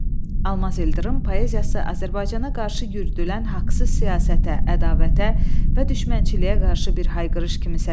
Almaz İldırım poeziyası Azərbaycana qarşı yürüdülən haqsız siyasətə, ədavətə və düşmənçiliyə qarşı bir hayqırış kimi səslənir.